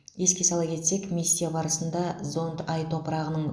еске сала кетсек миссия барысында зонд ай топырағының